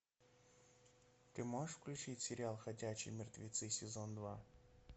ты можешь включить сериал ходячие мертвецы сезон два